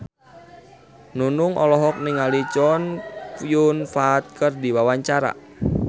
Nunung olohok ningali Chow Yun Fat keur diwawancara